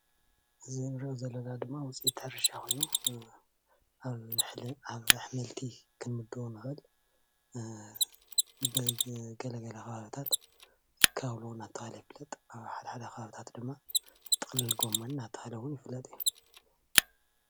እዚ እንሪኦ ዘለና ድማ ውፅኢት ሕርሻ ኮይኑ ኣብ ኣሕምልቲ ክምደቦ ንክእል ፡፡ኣብ ገለገለ ከባቢታት ካውሎ እንዳተባሃለ ይፍለጥ ኣብ ሓደሓደ ከባቢታት ድማ ጥቅልል ጎሞን እውን እንዳተባሃለ ይፍለጥ፡፡